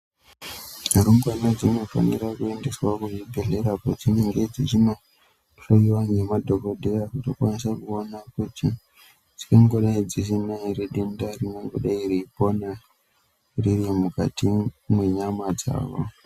Rumbwana dzinofanirwa kuendeswa kuzvibhedhlera kwadzinemge dzeyi dzechino hloyiwa nemadhokodheya kuti akwanise kuonekwa kuti dzingangodai dziine denda here rimgangodai reyipona riri mukati mwenyama dzavo.